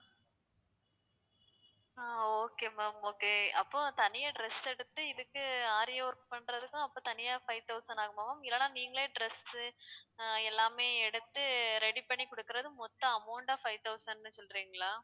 ஆஹ் okay ma'am okay அப்போ தனியா dress எடுத்து இதுக்கு aari work பண்றதுக்கும் அப்போ தனியா five thousand ஆகுமா ma'am இல்லைன்னா நீங்களே dress உ அஹ் எல்லாமே எடுத்து ready பண்ணி கொடுக்குறது மொத்த amount ஆ five thousand ன்னு சொல்றீங்களா